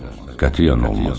Qətiyyən olmaz.